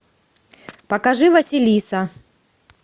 покажи василиса